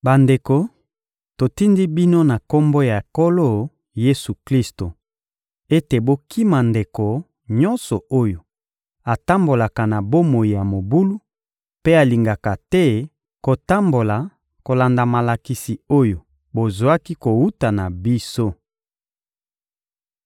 Bandeko, totindi bino na Kombo ya Nkolo Yesu-Klisto ete bokima ndeko nyonso oyo atambolaka na bomoi ya mobulu mpe alingaka te kotambola kolanda malakisi oyo bozwaki kowuta na biso.